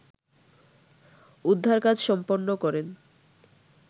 উদ্ধার কাজ সম্পন্ন করেন